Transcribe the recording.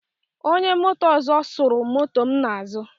Onye moto ọzọ suru moto m n'azụ.